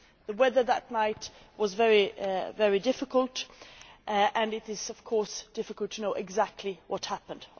The weather that night was very difficult, and it is of course difficult to know exactly what happened.